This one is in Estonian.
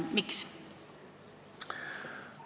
Miks?